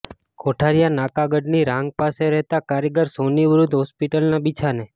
કોઠારીયા નાકા ગઢની રાંગ પાસે રહેતાં કારીગર સોની વૃધ્ધ હોસ્પિટલના બિછાને